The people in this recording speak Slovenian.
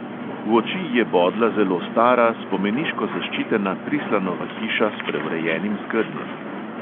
V oči je bodla zelo stara spomeniško zaščitena prislanova hiša s preurejenim skednjem.